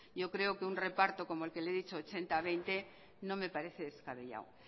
yo creo que un reparto como el que le he dicho ochenta veinte no me parece descabellado